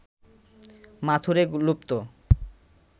মাথুরে লুপ্ত